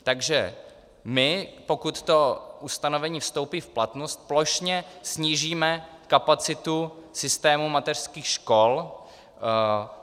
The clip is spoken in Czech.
Takže my, pokud to ustanovení vstoupí v platnost, plošně snížíme kapacitu systému mateřských škol.